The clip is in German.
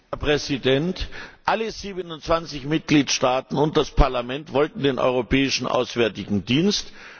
Herr Präsident! Alle 27 Mitgliedstaaten und das Parlament wollten den Europäischen Auswärtigen Dienst.